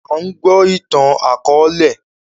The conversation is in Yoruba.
A ń gbọ́ ìtàn akọ̀ọ̀lẹ